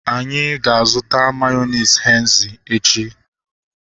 Anyị ga-azuta mayonezi Henzi echi